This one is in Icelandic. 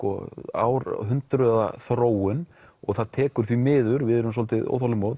árhundruða þróun og það tekur því miður við erum svolítið óþolinmóð